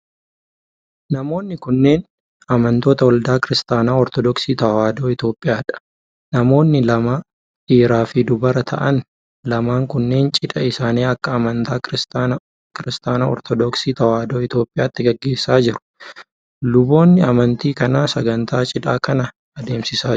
Namoonni kunneen, amantoota waldaa Kiristaanaa Ortodooksii Tawaahidoo Itoophiyaa dha. Namoonni lama dhiiraa fi dubara ta'an lamaan kunneen cidha isaanii akka amantaa Kiristaana Ortodooksii Tawaahidoo Itoophiyaatti gaggeessaa jiru. Luboonni amantii kanaa sagantaa cidhaa kana adeemsisaa jiru.